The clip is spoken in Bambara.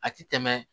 A ti tɛmɛ